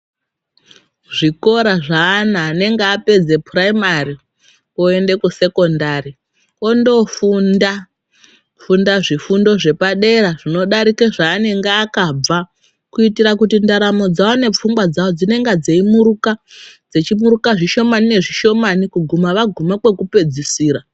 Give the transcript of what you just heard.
Zvikora zveana anenge apedza piraimari woenda kusekondari wondofunda kufunda zvepadera zvinodarika zvanonga akabva kuitira kuti ndaramo dzawo nepfungwa dzawo dzeimuruka zvishomani nezvishomani kuguma vaguma kwekupedzisira.